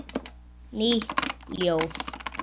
Nýtt ljóð.